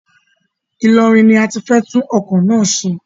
Ilorin ni a ti fẹ́ tún ọkọ̀ náà ṣe.